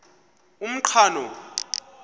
umqhano